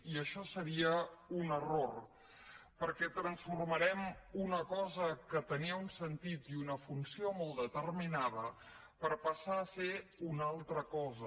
i això seria un error perquè transformarem una cosa que tenia un sentit i una funció molt determinada per passar a ser una altra cosa